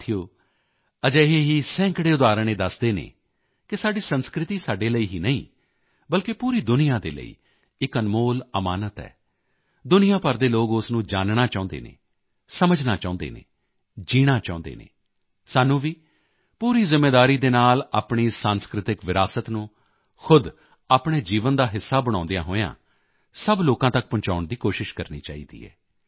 ਸਾਥੀਓ ਅਜਿਹੇ ਹੀ ਸੈਂਕੜੇ ਉਦਾਹਰਣ ਇਹ ਦੱਸਦੇ ਹਨ ਕਿ ਸਾਡੀ ਸੰਸਕ੍ਰਿਤੀ ਸਾਡੇ ਲਈ ਹੀ ਨਹੀਂ ਬਲਕਿ ਪੂਰੀ ਦੁਨੀਆ ਦੇ ਲਈ ਇੱਕ ਅਨਮੋਲ ਅਮਾਨਤ ਹੈ ਦੁਨੀਆ ਭਰ ਦੇ ਲੋਕ ਉਸ ਨੂੰ ਜਾਨਣਾ ਚਾਹੁੰਦੇ ਹਨ ਸਮਝਣਾ ਚਾਹੁੰਦੇ ਹਨ ਜੀਣਾ ਚਾਹੁੰਦੇ ਹਨ ਸਾਨੂੰ ਵੀ ਪੂਰੀ ਜ਼ਿੰਮੇਵਾਰੀ ਦੇ ਨਾਲ ਆਪਣੀ ਸੰਸਕ੍ਰਿਤਿਕ ਵਿਰਾਸਤ ਨੂੰ ਖ਼ੁਦ ਆਪਣੇ ਜੀਵਨ ਦਾ ਹਿੱਸਾ ਬਣਾਉਂਦਿਆਂ ਹੋਇਆਂ ਸਭ ਲੋਕਾਂ ਤੱਕ ਪਹੁੰਚਾਉਣ ਦੀ ਕੋਸ਼ਿਸ਼ ਕਰਨੀ ਚਾਹੀਦੀ ਹੈ